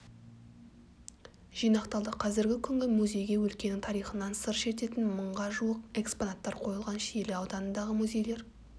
жинақталды қазіргі күні музейге өлкенің тарихынан сыр шертетін мың жуық экспонаттар қойылған шиелі ауданындағы музейлер